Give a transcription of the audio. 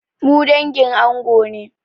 Mu dangin ango ne.